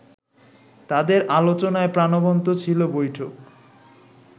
তাদের আলোচনায় প্রাণবন্ত ছিল বৈঠক